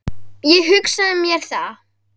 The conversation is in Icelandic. Ég hafði hugsað mér það.